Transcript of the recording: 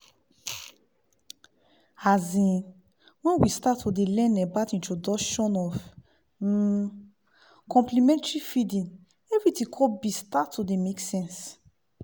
azinn when we start to dey learn about introduction of um complementary feeding everything con be start to dey make sense